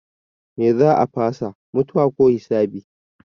Me za a fasa? Mutuwa ko hisabi?